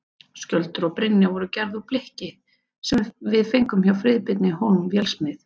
Skjöldur og brynja voru gerð úr blikki sem við fengum hjá Friðbirni Hólm vélsmið.